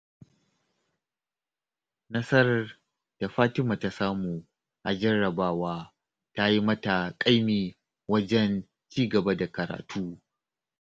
Nasarar da Fatima ta samu a jarrabawa ta yi mata ƙaimi wajen ci gaba da karatu